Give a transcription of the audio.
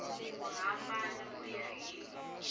ku hambana ku ya hi